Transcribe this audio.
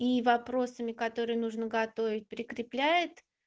и вопросами которые нужно готовить прикрепляет